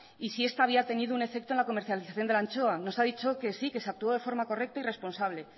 y si esta había tenido un efecto en la comercialización de la anchoa nos ha dicho que sí que se actuó de forma correcta y responsable